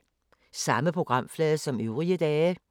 Samme programflade som øvrige dage